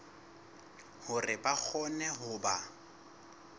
hore ba kgone ho ba